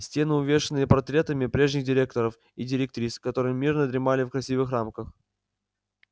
стены увешаны портретами прежних директоров и директрис которые мирно дремали в красивых рамах